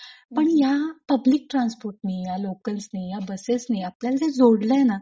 पण ह्या पब्लिक ट्रान्सपोर्टनी या लोकल्सनी या बसेसनी अपल्याला जे जोडलंय ना;